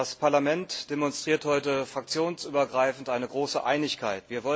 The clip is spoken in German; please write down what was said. Das Parlament demonstriert heute fraktionsübergreifend eine große Einigkeit.